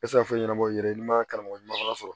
I tɛ se ka foyi ɲɛnabɔ i yɛrɛ ye i man karamɔgɔ ɲuman sɔrɔ